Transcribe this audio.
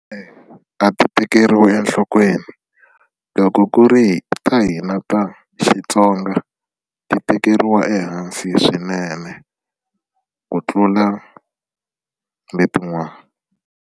a ti tekeriwi enhlokweni loko ku ri ta hina ta Xitsonga ti tekeriwa ehansi swinene ku tlula letin'wana.